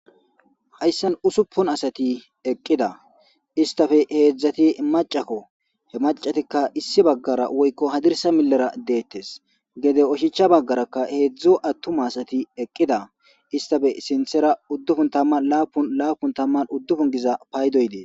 Hayssan usuppun asati eqqida istafe heedzdzati macakko he macatikka issi baggara woykko hadirsa milera deettes gede oshicha baggarakka heedzdzo attuma asati eqqida istafe sinthera uddufun tamman laapun laapun tamman uddufun giza paydoydee.